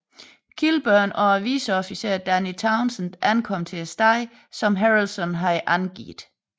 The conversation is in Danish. Kilburn og vicesheriffen Danny Towsend ankom til stedet som Harrelson havde angivet